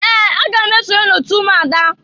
Ee! Aga m esonye n'otu ụmụada.